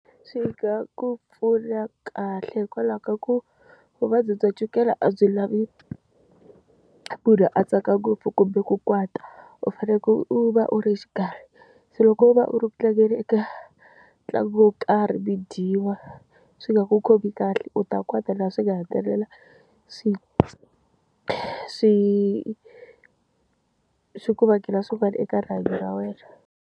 Swi nga ku pfuna kahle hikwalaho ka ku vuvabyi bya chukela a byi lavi ku ri a tsaka ngopfu kumbe ku kwata u faneke u va u ri xikarhi se loko u va u ri ku tlangeni eka ntlangu wo karhi mi dyiwa swi nga ku khomi kahle u ta kota laha swi nga hetelela swi swi swi ku vangela swin'wana eka rihanyo ra wena.